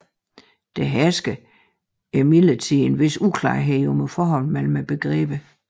Der hersker imidlertid en vis uklarhed om forholdet mellem begreberne